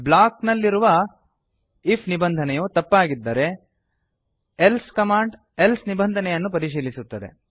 block ನಲ್ಲಿರುವ IF ನಿಬಂಧನೆಯು ತಪ್ಪಾಗಿದ್ದರೆ ಎಲ್ಸೆ ಕಮಾಂಡ್ ಎಲ್ಸೆ ನಿಬಂಧನೆಯನ್ನು ಪರಿಶೀಲಿಸುತ್ತದೆ